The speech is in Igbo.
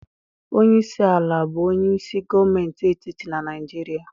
Onye isi ala bụ onye isi gọọmentị etiti na Naịjirịa.